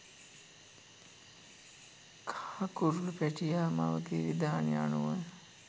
කහ කුරුලු පැටියා මවගේ විධානය අනුව